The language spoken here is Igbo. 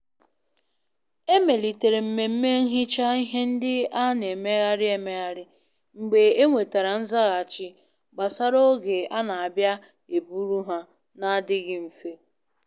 A melitere mmemme nhicha ihe nde a n'emegharị emegharị mgbe e nwetara nzaghachi gbasara oge a na abịa e buru ha na adichaghi nfe.